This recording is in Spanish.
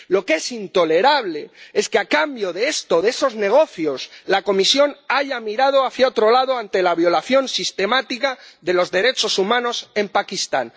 Lo que es intolerable es que a cambio de esto, de esos negocios, la Comisión haya mirado a otro lado ante la violación sistemática de los derechos humanos en Pakistán.